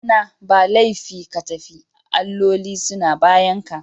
Ɗana, ba laifi ka tafi, alloli suna bayanka